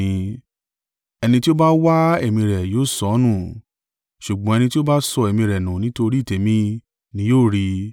Ẹni tí ó bá wa ẹ̀mí rẹ̀ yóò sọ ọ́ nù, ṣùgbọ́n ẹni tí ó bá sọ ẹ̀mí rẹ̀ nú nítorí tèmi ni yóò rí i.